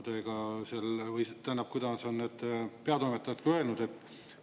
Tähendab, kuidas on need peatoimetajad ka öelnud?